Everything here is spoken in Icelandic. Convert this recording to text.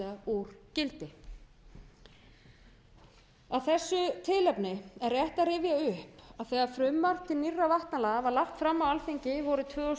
úr gildi af þessu tilefni er rétt að rifja upp að þegar frumvarp til nýrra vatnalaga var lagt fram á alþingi vorið tvö þúsund og